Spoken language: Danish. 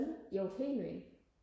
jo helt vildt